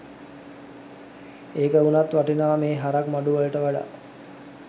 ඒක උනත් වටිනවා මෙහෙ හරක් මඩු වලට වඩා